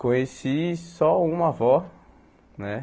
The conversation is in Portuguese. Conheci só uma avó, né?